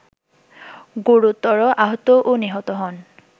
গুরুতর আহত ও নিহত হন